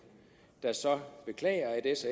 der så beklager at s